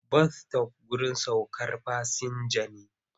Bas-sitof wurin saukar fasinja ne.